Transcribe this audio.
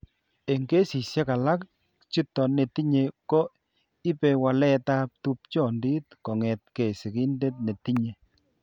Eng' kesishek alak, chito netinye ko ipe waletab tupchondit kong'etke sigindet netinye.